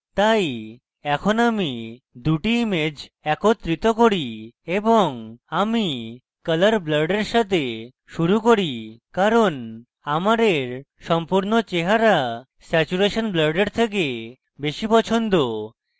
তাই এখন আমি দুটি ইমেজ একত্রিত করি এবং আমি colour blurred এর সাথে শুরু করি কারণ আমার এর সম্পূর্ণ চেহারা saturation blurred এর থেকে বেশী পছন্দ